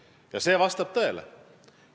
Ja see vastab tõele.